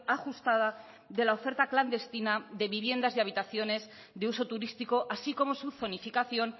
ajustada de la oferta clandestina de viviendas de habitaciones de uso turístico así como su zonificación